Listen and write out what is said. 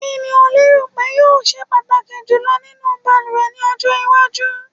Kí o lérò pé yóò se pàtàkì jùlọ nínú balùwẹ̀ ní ọjọ́ iwájú?